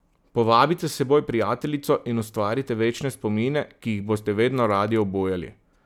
Povabite s seboj prijateljico in ustvarite večne spomine, ki jih boste vedno radi obujali.